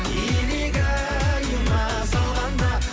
илигайыма салғанда